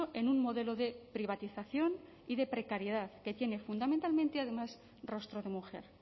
en un modelo de privatización y de precariedad que tiene fundamentalmente además rostro de mujer